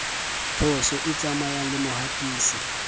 phoso e tsamaya le mohatisi